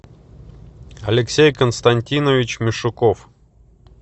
алексей константинович мишуков